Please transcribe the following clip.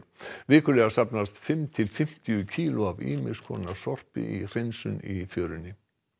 vikulega safnast fimm til fimmtíu kíló af ýmis konar sorpi við hreinsun í fjörunni